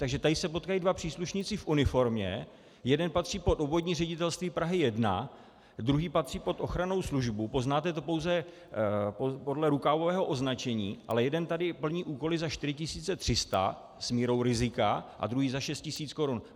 Takže tady se potkají dva příslušníci v uniformě, jeden patří pod Obvodní ředitelství Prahy 1, druhý patří pod ochranou službu, poznáte to pouze podle rukávového označení, ale jeden tady plní úkoly za 4 300 s mírou rizika a druhý za 6 tisíc korun.